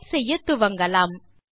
type செய்யத்துவங்கலாம்